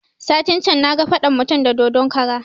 Satin can na ga faɗan mutum da dodon kara